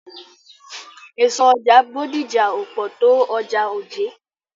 Èso ọjà Bódìjà ò pọ̀ tó ọjà Ojé.